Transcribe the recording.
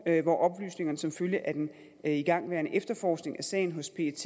hvor oplysningerne som følge af den igangværende efterforskning af sagen hos pet